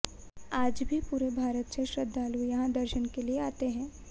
आज भी पूरे भारत से श्रदालू यहाँ दर्शन के लिये आते है